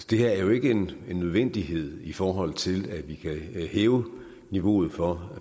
det her er jo ikke en nødvendighed i forhold til at vi kan hæve niveauet for